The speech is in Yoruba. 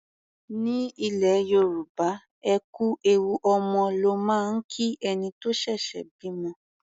Ní ilẹ̀ Yorùbá, ẹ kú ewu ọmọ ló máa ń kí ẹni tó ṣẹ̀ṣẹ̀ bímọ.